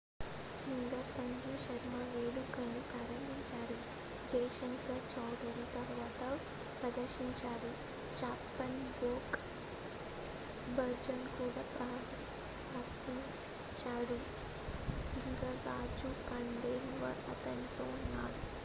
singer Sanju Sharma వేడుకని ప్రారంభించారు జై శంకర్ చౌదరి తరువాత ప్రదర్శించారు చప్పన్ భోగ్ భజన్ కూడా ప్రదర్శించారు సింగర్ రాజు ఖండేల్వాల్ అతనితో ఉన్నారు